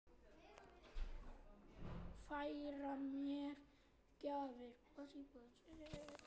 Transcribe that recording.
Færa mér gjafir sínar.